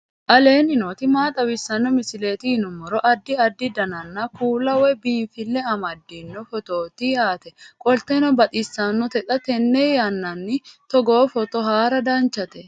aleenni nooti maa xawisanno misileeti yinummoro addi addi dananna kuula woy biinsille amaddino footooti yaate qoltenno baxissannote xa tenne yannanni togoo footo haara danvchate